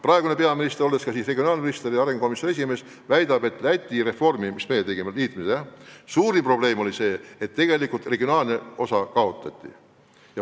Praegune peaminister, olles ka regionaalminister ja arengukomisjoni esimees, väidab, et Läti haldusreformis, mis nägi ka ette liitmist nagu meie reform, oli suurim probleem see, et tegelikult regionaalne tasand kaotati.